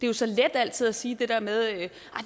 jo så let altid at sige det der med at